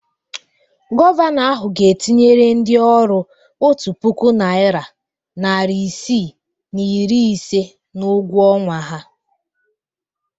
Gọvanọ ahụ ga-etinyere ndị ọrụ otu puku naịra, narị isii na iri ise n'ụgwọ ọnwa ha.